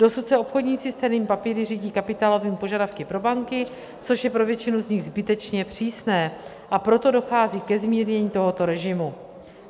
Dosud se obchodníci s cennými papíry řídí kapitálovými požadavky pro banky, což je pro většinu z nich zbytečně přísné, a proto dochází ke zmírnění tohoto režimu.